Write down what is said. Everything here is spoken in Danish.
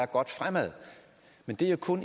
godt fremad men det er kun